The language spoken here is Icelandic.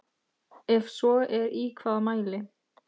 Ef svo er í hvaða mæli?